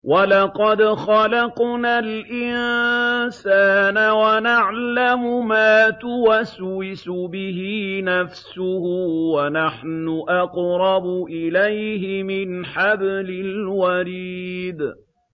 وَلَقَدْ خَلَقْنَا الْإِنسَانَ وَنَعْلَمُ مَا تُوَسْوِسُ بِهِ نَفْسُهُ ۖ وَنَحْنُ أَقْرَبُ إِلَيْهِ مِنْ حَبْلِ الْوَرِيدِ